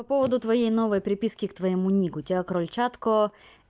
по поводу твоей новой приписки к твоему нику тебя крольчатка